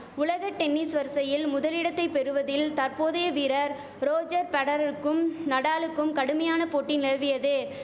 உலக டென்னிஸ் வரிசையில் முதலிடத்தை பெறுவதில் தற்போதைய வீரர் ரோஜர் பெடரருக்கும் நடாலுக்கும் கடுமையான போட்டி நிலவியது